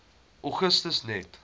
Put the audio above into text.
augustus net